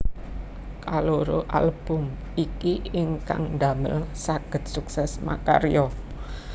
Kaloro album iki ingkang damel sagéd sukses makarya